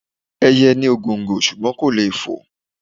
Ẹyẹ ni ògòǹgò ṣùgbọ́n kò lè fò.